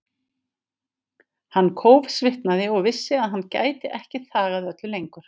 Hann kófsvitnaði og vissi að hann gæti ekki þagað öllu lengur.